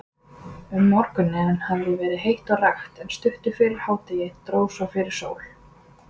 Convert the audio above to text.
Um morguninn hafði verið heitt og rakt, en stuttu fyrir hádegi dró fyrir sól.